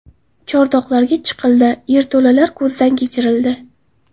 Chordoqlarga chiqildi, yerto‘lalar ko‘zdan kechirildi.